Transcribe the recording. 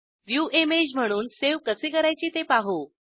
view image म्हणून save कसे करायचे ते पाहू